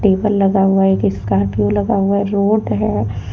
Table लगा हुआ है एक स्कॉर्पियो लगा हुआ है रोड है।